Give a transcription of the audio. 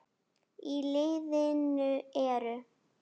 Í liðinu eru